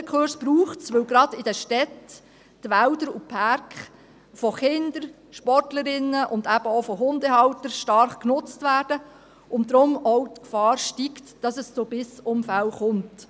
Die Hundekurse braucht es, weil gerade in den Städten die Wälder und Parks von Kindern, Sportlerinnen und eben auch von Hundehaltern stark genutzt werden und deshalb auch die Gefahr steigt, dass es zu Bissunfällen kommt.